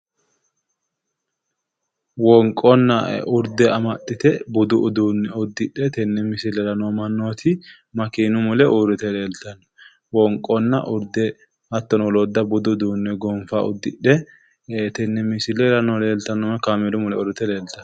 Wonqonna urde amaxxite budu uduunne uddidhino manni makeenu mule uurriye leeltanno. Wonqonna urde hattono woloodda budu uduunne gonfa uddidhe tenne misilera leeltanno hattono kameelu mule leeltanno.